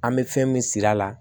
An bɛ fɛn min siri a la